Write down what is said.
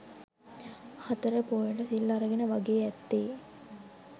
හතර පෝයට සිල් අරගෙන වගේ ඇත්තේ